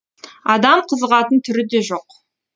адам қызығатын түрі де жоқ